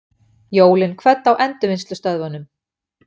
Jólin kvödd á endurvinnslustöðvunum